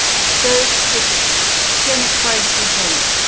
Sölvi Tryggvason: Hvernig færð þú það út?